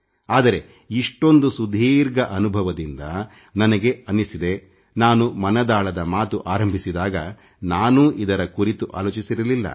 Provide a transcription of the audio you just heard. ಆದರೆ ಸುದೀರ್ಘ ಅನುಭವದಿಂದ ನನಗೆ ಅನ್ನಿಸಿದ್ದು ನಾನು ಮನದಾಳದ ಮಾತು ಆರಂಭಿಸಿದಾಗ ನಾನೂ ಇದರ ಕುರಿತು ಆಲೋಚಿಸಿರಲಿಲ್ಲ